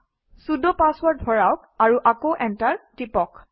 sudo password ভৰাওক আৰু আকৌ এণ্টাৰ টিপক